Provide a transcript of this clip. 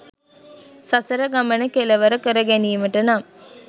සසර ගමන කෙළවර කරගැනීමට නම්